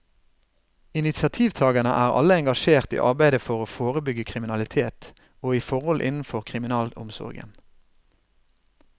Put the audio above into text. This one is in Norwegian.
Initiativtagerne er alle engasjert i arbeidet for å forebygge kriminalitet, og i forhold innenfor kriminalomsorgen.